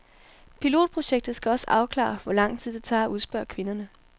Pilotprojektet skal også afklare, hvor lang tid det tager at udspørge kvinderne.